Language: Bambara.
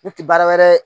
Ne tɛ baara wɛrɛ